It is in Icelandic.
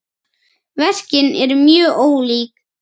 Verkin eru mjög ólík.